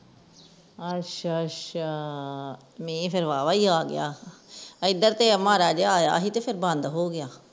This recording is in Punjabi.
ਅਛਾ ਅਛਾ ਮੀਂਹ ਤੇ ਵਾਹਵਾ ਹੀ ਆ ਗਿਆ ਏਧਰ ਤੇ ਮਾੜਾ ਜਿਹਾ ਆਇਆ ਸੀ ਫੇਰ ਬੰਦ ਹੋ ਗਿਆ